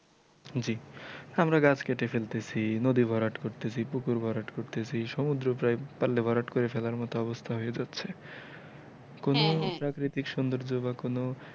জি আমরা গাছ কেটে ফেলতেছি নদী ভরাট করতেছি পুকুর ভরাট করতেছি সমুদ্র প্রায় পারলে ভরাট করে ফেলার মতো অবস্থা হয়ে যাচ্ছে কোনো প্রাকৃতিক সুন্দর্জ বা কোনো,